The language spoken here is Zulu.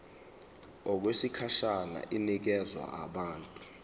okwesikhashana inikezwa abantu